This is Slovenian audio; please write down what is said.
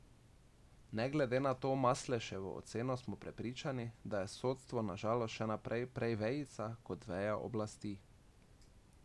Ne glede na to Masleševo oceno smo prepričani, da je sodstvo na žalost še naprej prej vejica kot veja oblasti.